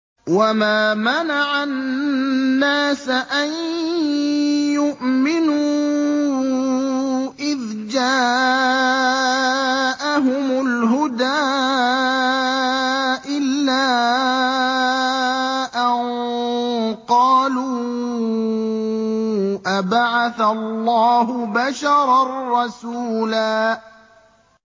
وَمَا مَنَعَ النَّاسَ أَن يُؤْمِنُوا إِذْ جَاءَهُمُ الْهُدَىٰ إِلَّا أَن قَالُوا أَبَعَثَ اللَّهُ بَشَرًا رَّسُولًا